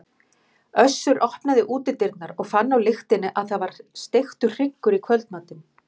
Össur opnaði útidyrnar og fann á lyktinni að það var steiktur hryggur í kvöldmatinn.